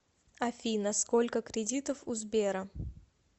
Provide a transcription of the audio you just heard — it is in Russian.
афина сколько кредитов у сбера